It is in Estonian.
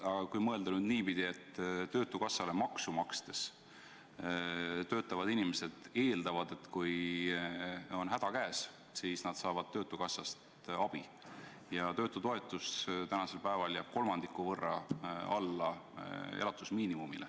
Aga mõtleme nüüd niipidi, et töötukassale maksu makstes töötavad inimesed eeldavad, et kui on häda käes, siis nad saavad töötukassast abi, kuid töötutoetus tänasel päeval jääb kolmandiku võrra alla elatusmiinimumi.